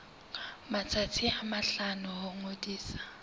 matsatsi a mahlano ho ngodisa